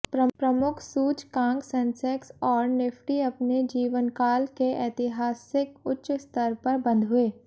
प्रमुख सूचकांक सेंसेक्स और निफ्टी अपने जीवनकाल के ऐतिहासिक उच्च स्तर पर बंद हुए